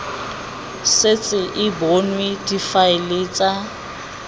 setse e bonwe difaele tsa